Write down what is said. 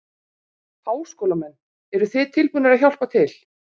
Háskólamenn, eruð þið tilbúnir að hjálpa til?